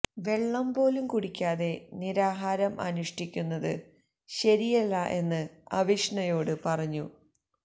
വെള്ളം പോലും കുടിക്കാതെ നിരാഹാരം അനുഷ് ഠിക്കുന്നത് ശരിയല്ല എന്ന് അവിഷ്ണയോട് പറഞ്ഞു